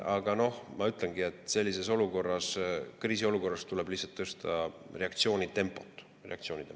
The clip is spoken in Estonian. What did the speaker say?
Aga noh, ma ütlengi, et sellises olukorras, kriisiolukorras tuleb lihtsalt reageerimise tempot tõsta.